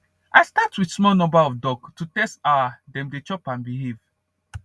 i start with small number of duck to test our dem dey chop and behave